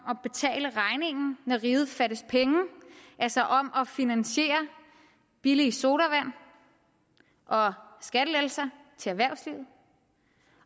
riget fattes penge altså om at finansiere billige sodavand og skattelettelser til erhvervslivet